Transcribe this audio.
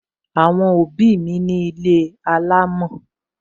Àwọn òbí mi ní ilé alámò